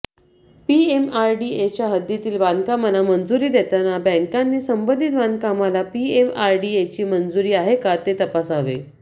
पीएमआरडीएच्या हद्दीतील बांधकामांना मंजुरी देताना बॅंकांनी संबंधित बांधकामाला पीएमआरडीएची मंजुरी आहे का हे तपासावे